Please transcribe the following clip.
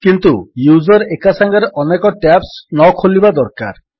କିନ୍ତୁ ୟୁଜର୍ ଏକାସାଙ୍ଗରେ ଅନେକ ଟ୍ୟାବ୍ସ ନଖୋଲିଥିବା ଦରକାର